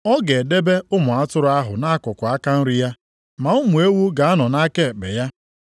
Ọ ga-edebe ụmụ atụrụ ahụ nʼakụkụ aka nri ya, ma ụmụ ewu ga-anọ nʼaka ekpe ya.